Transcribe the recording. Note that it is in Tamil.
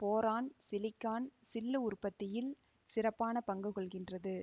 போரான் சிலிக்கான் சில்லு உற்பத்தியில் சிறப்பான பங்கு கொள்கின்றது